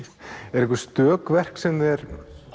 eru einhver stök verk sem þér